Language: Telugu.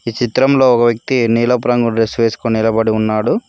ఈ చిత్రంలో ఒక వ్యక్తి నీలపు రంగు డ్రెస్ వేసుకొని నిలబడి ఉన్నాడు.